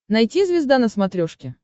найти звезда на смотрешке